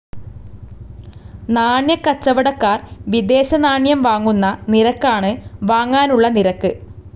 നാണ്യക്കച്ചവടക്കാർ വിദേശനാണ്യം വാങ്ങുന്ന നിരക്കാണ് വാങ്ങാനുള്ള നിരക്ക്.